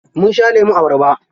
Munsha lemun abarba.